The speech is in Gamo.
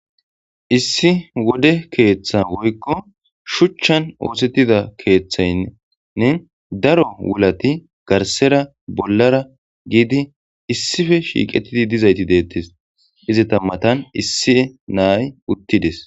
issi wode keeththa woykko shuchchan oosettida keeththaynnne daro wulati garsera bollara giidi issife shiiqetidi dizayti deettes izi tammatan issie naay uttides